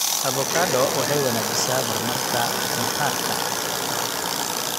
Avocado waxay wanaajisaa mar marka maqaarka.